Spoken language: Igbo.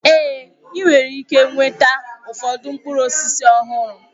Ee! Ị nwere ike nweta ụfọdụ mkpụrụ osisi ọhụrụ.